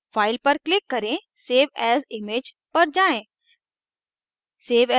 file पर click करें save as image पर जाएँ